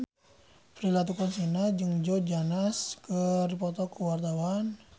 Prilly Latuconsina jeung Joe Jonas keur dipoto ku wartawan